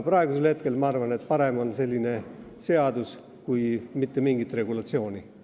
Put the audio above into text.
Praegu ma arvan, et parem on selline seadus kui mitte mingit regulatsiooni.